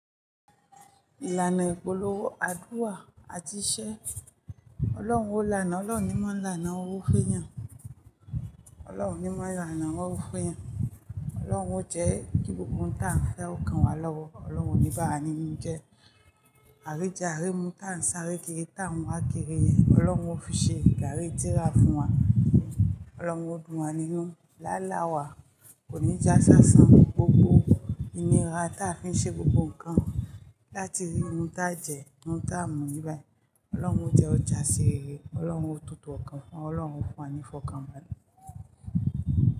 Ìlànà ìpolówó, àdúrà àti iṣẹ́. Ọlọ́run o lánà, ọlọ́run ní mọ́ lánà, owó féyàn. Ọlọ́run ní mọ́ lánàá, owó féyàn. Ọlọ́runo o jẹ́ ki gbogbo ohun táa ń fe ó kan wá lọ́wọ́. Ọlọ́run ní bàwà ninu jẹ. A ríjẹ, a rímú, táa ń sáré kiri, táa ń wá kiri yen. Ọlọ́run o fi ṣe gárí tíra fún wa. Ọlọ́run o dùn wá nínú. Lálá wa kò ní ja saṣan fún gbogbo ìnira táa fi n ṣe gbogbo nǹkan láti rí ohun táa jẹ, ohun táa mu n bibai. Ọlọ́run jẹ́ ó jásí rere. Ọlọ́run ó tutù ọkàn wa. Ọlọ́run o fún wa ní ìfọ̀kànbalẹ̀.